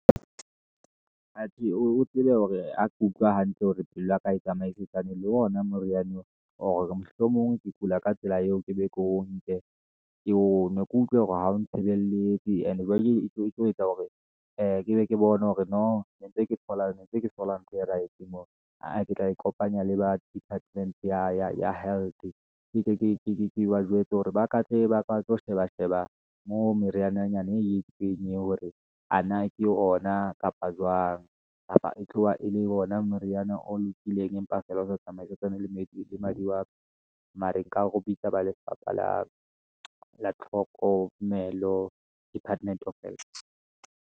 Atjhe o tsebe hore ha ke utlwa hantle hore pelo ya ka, ha e tsamaisetsana le ona moriana ona, or mohlomong ke kula ka tsela eo ke be ke o nke, ke onwe ke utlwe hore ha o tshebeletse. And jwale etlo etsa hore ee ke be ke bone hore no ntse ke thola ntho e right moo, aa ke tla ikopanya le ba department ya health. Ke tle ke ba jwetse hore ba ka tle, ba tlo sheba, sheba moo, meriananyana e itseng ye hore, ana ke ona kapa jwang, e tloha e le ona moriana o lokileng, empa feela o sa tsamaye le madi wa ka, mare nka ho bitsa ba lefapha la tlhokomelo department of health.